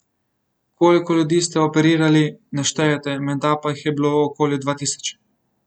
Koliko ljudi ste operirali, ne štejete, menda pa jih je bilo okoli dva tisoč.